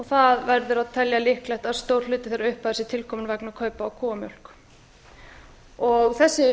það verður að telja líklegt að stór hluti þeirrar upphæðar sé tilkomin vegna kaupa á kúamjólk þessi